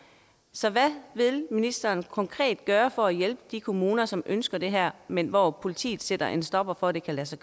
så hvad vil ministeren konkret gøre for at hjælpe de kommuner som ønsker det her men hvor politiet sætter en stopper for at det kan lade sig